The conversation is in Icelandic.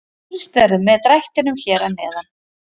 Fylgst verður með drættinum hér að neðan.